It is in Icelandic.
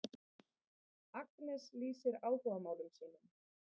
Agnes lýsir áhugamálum sínum.